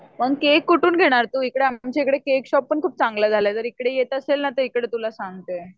पण केक कुठून घेणार तू? इकडे आमच्या इकडे केक शॉप पण खूप चांगल्या झाल्या जर इकडे येत असेल ना तर इकडे तुला सांगते.